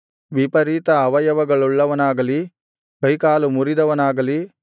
ವಿಪರೀತ ಅವಯವಗಳುಳ್ಳವನಾಗಲಿ ಕೈಕಾಲು ಮುರಿದವನಾಗಲಿ